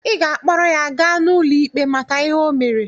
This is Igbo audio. Ị ga-akpọrọ ya gaa n'ụlọ ikpe maka ihe o mere!